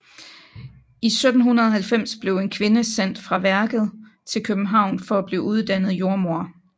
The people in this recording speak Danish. I 1790 blev en kvinde sendt fra værket til København for at blive uddannet til jordmoder